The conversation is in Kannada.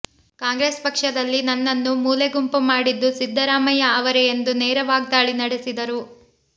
ಕಾಂಗ್ರೆಸ್ ಪಕ್ಷದಲ್ಲಿ ನನ್ನನ್ನು ಮೂಲೆಗುಂಪು ಮಾಡಿದ್ದು ಸಿದ್ದರಾಮಯ್ಯ ಅವರೇ ಎಂದು ನೇರ ವಾಗ್ಧಾಳಿ ನಡೆಸಿದರು